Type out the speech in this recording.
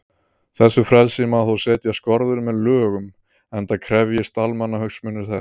Þessu frelsi má þó setja skorður með lögum, enda krefjist almannahagsmunir þess.